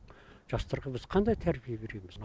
жастарға біз қандай тәрбие береміз